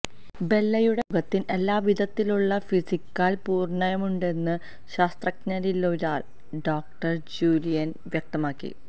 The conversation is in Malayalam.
ബെല്ലയുടെ മുഖത്തിന് എല്ലാവിധത്തിലുള്ള ഫിസിക്കാല് പൂര്ണതയുമുണ്ടെന്ന് ശാസ്ത്രജ്ഞരിലൊരാളായ ഡോക്ടര് ജൂലിയന് വ്യക്തമാക്കി